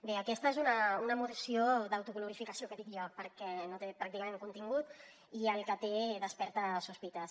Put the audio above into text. bé aquesta és una moció d’autoglorificació que dic jo perquè no té pràcticament contingut i el que té desperta sospites